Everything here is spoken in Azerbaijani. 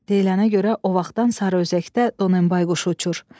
Deyilənə görə o vaxtdan Sarıözəkdə Donenbay quşu uçur.